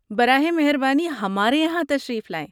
براہ مہربانی! ہمارے یہاں تشریف لائیں۔